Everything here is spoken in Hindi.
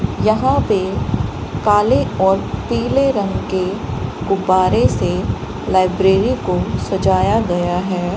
यहां पे काले और पीले रंग के गुब्बारे से लाइब्रेरी को सजाया गया है।